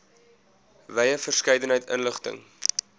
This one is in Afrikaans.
wye verskeidenheid inligting